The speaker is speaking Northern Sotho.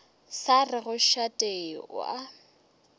sa rego šate o a